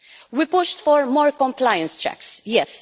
We pushed for more compliance checks, yes